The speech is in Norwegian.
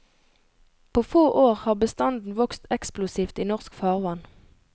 På få år har bestanden vokst eksplosivt i norsk farvann.